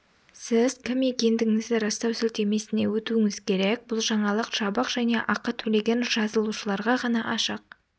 сіз кім екендігіңізді растау сілтемесіне өтуіңіз керек бұл жаңалық жабық және ақы төлеген жазылушыларға ғана ашық